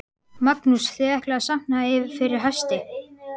Magnús: Þið ætlið að safna fyrir hesti?